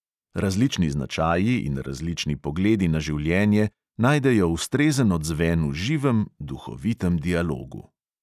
Različni značaji in različni pogledi na življenje najdejo ustrezen odzven v živem, duhovitem dialogu.